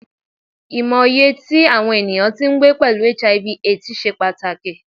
Imọye ti awọn eniyan ti ngbe pẹlu Hiv/Aids ṣe pataki